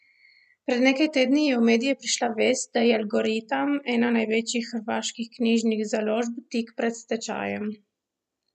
Pred nekaj tedni je v medije prišla vest, da je Algoritam, ena največjih hrvaških knjižnih založb, tik pred stečajem.